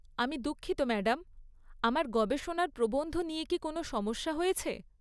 আমি দুঃখিত ম্যাডাম। আমার গবেষণার প্রবন্ধ নিয়ে কি কোনও সমস্যা হয়েছে?